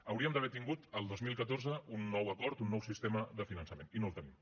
hauríem d’haver tingut el dos mil catorze un nou acord un nou sistema de finançament i no el tenim